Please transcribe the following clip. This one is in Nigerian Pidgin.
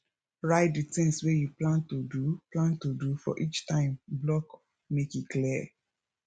write di tins wey you plan to do plan to do for each time block make e clear